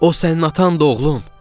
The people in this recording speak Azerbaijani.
O sənin atandır, oğlum.